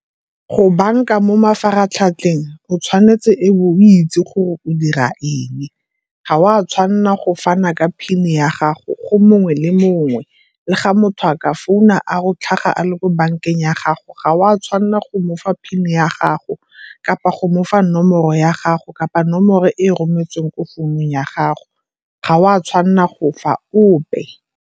Go banka mo mafaratlhatlheng o tshwanetse e be o itse gore o dira eng. Ga o a tshwanela go fana ka PIN ya gago go mongwe le mongwe le ga motho a ka founa a re o tlhaga a le ko bankeng ya gago, ga o a tshwanela go mofa PIN ya gago, kapa go mofa nomoro ya gago kapa nomoro e e rometsweng ko founung ya gago, ga o a tshwanela go fa ope.